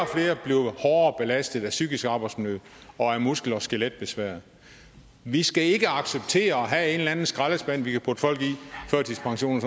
bliver hårdere belastet af psykisk arbejdsmiljø og af muskel og skeletbesvær vi skal ikke acceptere at have en eller anden skraldespand vi kan putte folk i førtidspension og